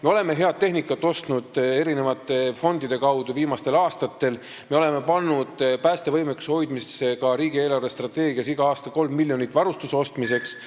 Me oleme viimastel aastatel ostnud eri fondide kaudu head tehnikat, me oleme pannud päästevõimekuse hoidmiseks ka riigieelarvesse igal aastal 3 miljonit varustuse ostmiseks.